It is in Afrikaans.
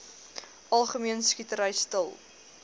algemene skietery stil